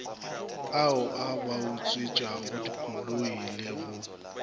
ao a bautswetšagodikoloi le go